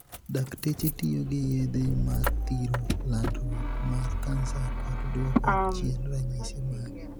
dakteche tiyo gi yedhe mar thiro landruok mar kansa kod duoko chien ranyisi mage.